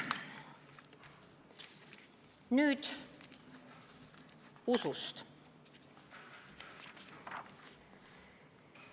" Nüüd usust.